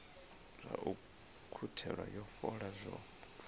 zwa u ukhuthela fola zwo